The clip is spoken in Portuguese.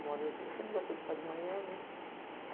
Eu sempre gostei de estudar de manhã.